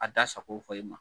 A da sago fɔ i ma